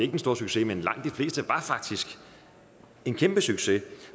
den store succes men langt de fleste var faktisk en kæmpe succes